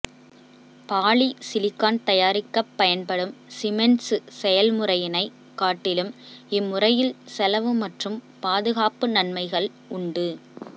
polysilicon தயாரிக்கப் பயன்படும் Siemens செயல்முறையினைக் காட்டிலும் இம்முறையில் செலவு மற்றும் பாதுகாப்பு நன்மைகள் உண்டு